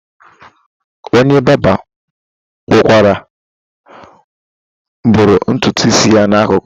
Onye barba kpọkwara bụrụ nturu isi ya na akụkụ.